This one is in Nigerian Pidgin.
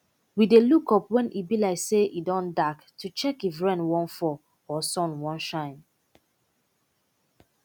we dey look up when e be like say e don dark to check if rain wan fall or sun wan shine